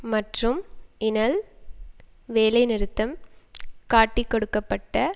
மற்றும் இனல் வேலை நிறுத்தம் காட்டிக்கொடுக்கப்பட்ட